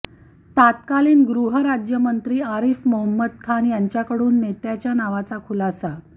तत्कालीन गृहराज्यमंत्री आरिफ मोहम्मद खान यांच्याकडून नेत्याचा नावाचा खुलासा